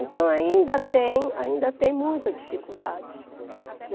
Então, ainda tem, ainda tem muita dificuldade.